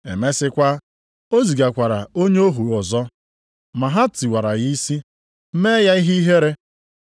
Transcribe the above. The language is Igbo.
Emesịkwa, o zigakwara onye ohu ọzọ. Ma ha tiwara ya isi, mee ya ihe ihere.